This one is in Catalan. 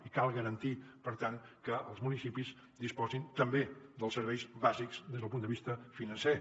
i cal garantir per tant que els municipis disposin tam·bé dels serveis bàsics des del punt de vista financer